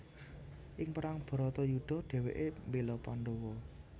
Ing perang Bharatayudha dhèwèké mbéla Pandawa